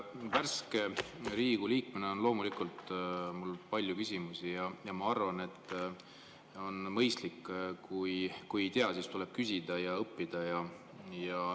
Värske Riigikogu liikmena on mul loomulikult palju küsimusi ja ma arvan, et kui ei tea, siis on mõistlik küsida ja õppida.